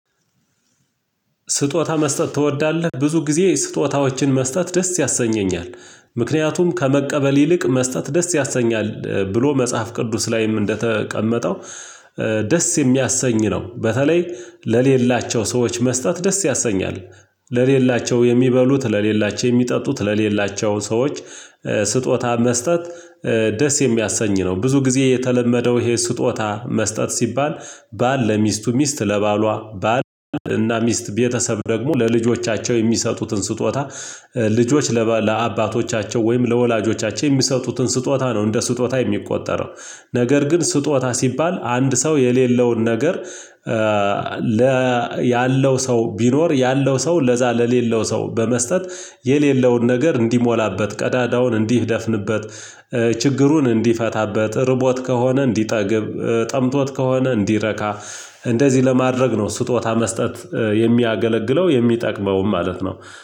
ስጦታ መስጠት ትወዳለህ ብዙ ጊዜ ስጦታዎችን መስጠት ደስ ያሰኘኛል። ምክንያቱም ከመቀበል ይልቅ መስጠት ደስ ያሰኛል። ብሎ መጽሐፍ ቅዱስ ላይም እንደተቀመጠው ደስ የሚያሰኝ ነው። በተለይ ለሌላቸው ሰዎች መስጠት ደስ ያሰኛል። ለሌላቸው የሚበሉት ለሌላቸው የሚጠጡት ለሌላቸው ሰዎች። ስጦታ መስጠት ደስ የሚያሰኝ ነው። ብዙ ጊዜ የተለመደው ይሄ ስጦታ መስጠት ሲባል ባል ለሚስቱ ሚስት ለባሏ ባል እና ሚስት ቤተሰብ ደግሞ ለልጆቻቸው የሚሰጡትን ስጦታ። ልጆች ለአባቶቻቸው ወይም ለወላጆቻቸው የሚሰጡትን ስጦታ ነው እንደ ስጦታ የሚቆጠረው። ነገር ግን ስጦታ ሲባል አንድ ሰው የሌለውን ነገር። ለ ያለው ሰው ቢኖር ያለው ሰው ለዛ ለሌለው ሰው በመስጠት የሌለውን ነገር እንዲሞላበት ቀዳዳውን እንዲህ ደፍንበት። ችግሩን እንዲፈታበት ርቦት ከሆነ እንዲጠግብ ጠምቶት ከሆነ እንዲረካ። እንደዚህ ለማድረግ ነው ስጦታ መስጠት የሚያገለግለው የሚጠቅመውም ማለት ነው።